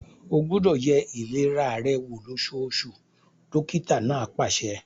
O gbúdọ̀ ye ìlera rẹ wò lósóosù! dókítà náà pàṣẹ.